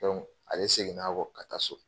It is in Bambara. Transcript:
ale seginn'a kɔ ka taa so.